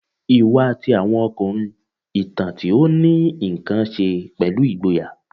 Iwa ti awọn ọkunrin, itan ti o ni nkan ṣe pẹlu igboya